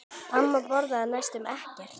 Amma borðaði næstum ekkert.